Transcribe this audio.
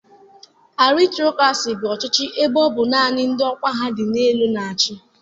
Arịstokrasi bụ ụdị ọchịchị ebe ọ bụ naanị ndị ọkwa ha dị elu na-achị.